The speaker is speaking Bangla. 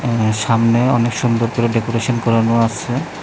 আঃ সামনে অনেক সুন্দর করে ডেকোরেশন করানো আছে।